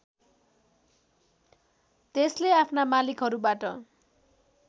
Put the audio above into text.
त्यसले आफ्ना मालिकहरूबाट